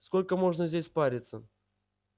сколько можно здесь париться